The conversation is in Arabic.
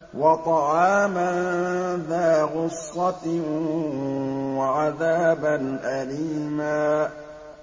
وَطَعَامًا ذَا غُصَّةٍ وَعَذَابًا أَلِيمًا